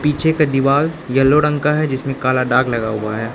पीछे का दीवाल येलो रंग का है जिसमें काला दाग लगा हुआ है।